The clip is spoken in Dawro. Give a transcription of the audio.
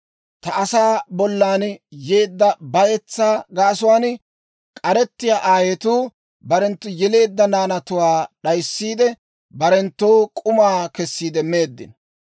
Ta asaa bollan yeedda bayetsaa gaasuwaan, k'arettiyaa aayetuu barenttu yeleedda naanatuwaa doyissiide, barenttoo k'uma kessiide meeddino.